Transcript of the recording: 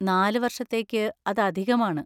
നാല് വർഷത്തേക്ക് അത് അധികമാണ്.